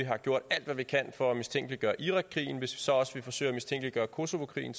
har gjort alt hvad vi kan for at mistænkeliggøre irakkrigen hvis vi så også vil forsøge at mistænkeliggøre kosovokrigen